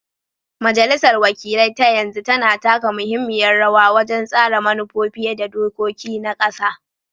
Majalisar wakilai ta yanzu tana taka muhimmiyar rawa wajen tsara manufofi da dokoki na ƙasa.